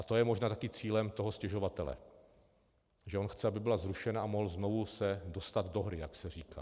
A to je možná taky cílem toho stěžovatele, že on chce, aby byla zrušena a mohl se znovu dostat do hry, jak se říká.